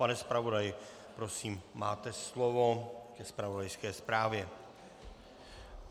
Pane zpravodaji, prosím, máte slovo ke zpravodajské zprávě.